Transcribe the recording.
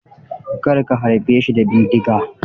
Kar ka harbe shi da bindiga.